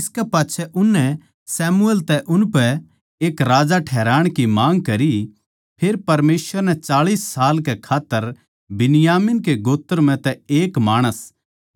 इसकै पाच्छै उननै शमूएल तै उनपै एक राजा ठैहराण की माँग करी फेर परमेसवर नै चाळीस साल कै खात्तर बिन्यामीन के गोत्र म्ह तै एक माणस